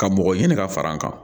Ka mɔgɔ ɲini ka fara n kan